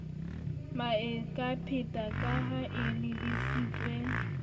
maekgepeta ka ha e lebisitswe